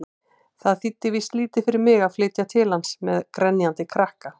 Það þýddi víst lítið fyrir mig að flytja til hans-með grenjandi krakka!